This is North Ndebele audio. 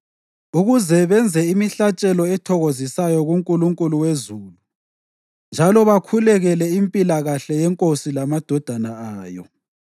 ukuze benze imihlatshelo ethokozisayo kuNkulunkulu wezulu njalo bakhulekele impilakahle yenkosi lamadodana ayo.